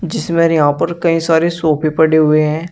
जिसमे यहां पर कई सारे सोफे पड़े हुए है।